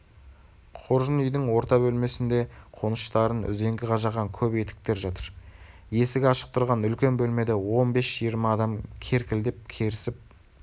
қоржын үйдің орта бөлмесінде қоныштарын үзеңгі қажаған көп етіктер жатыр есігі ашық тұрған үлкен бөлмеде он бес-жиырма адам керкілдесіп-керісіп